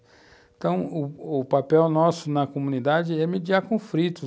Então, u u papel nosso na comunidade é mediar conflitos.